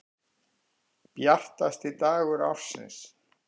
Bjartasti dagur ársins.